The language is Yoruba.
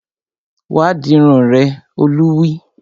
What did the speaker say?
Wá dirun rẹ! Olú wí